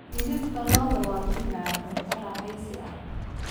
Hilibka lo'da waa mid macaan, cunto raaxaysi ah.